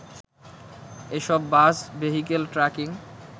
এসব bus vehicle tracking